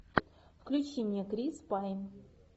включи мне крис пайн